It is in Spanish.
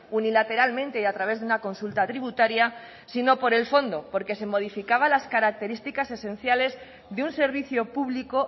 unilateralmente y a través de una consulta tributaria sino por el fondo porque se modificaban las características esenciales de un servicio público